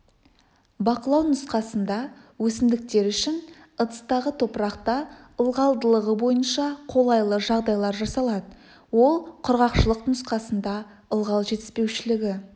бақылау нұсқасында өсімдіктер үшін ыдыстағы топырақта ылғалдылығы бойынша қолайлы жағдайлар жасалады ол құрғақшылық нұсқасында ылғал жетіспеушілігі